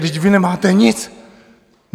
Vždyť vy nemáte nic!